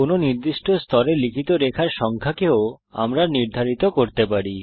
কোনো নির্দিষ্ট স্তরে লিখিত রেখার সংখ্যাকেও আমরা নির্ধারিত করতে পারি